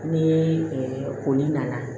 Ni koli nana